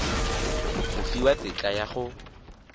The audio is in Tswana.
go fiwa tetla ya go